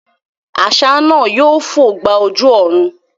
Àṣá náà yóò fò gba ojú ọ̀run